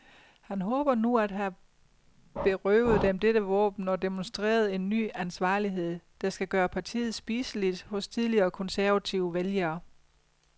Han håber nu at have berøvet dem dette våben og demonstreret en ny ansvarlighed, der skal gøre partiet spiseligt hos tidligere konservative vælgere.